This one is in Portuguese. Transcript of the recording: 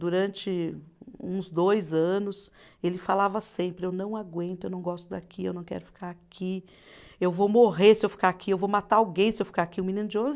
Durante uns dois anos, ele falava sempre, eu não aguento, eu não gosto daqui, eu não quero ficar aqui, eu vou morrer se eu ficar aqui, eu vou matar alguém se eu ficar aqui, um menino de onze